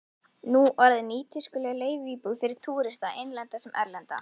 Nú orðinn nýtískuleg leiguíbúð fyrir túrista, innlenda sem erlenda.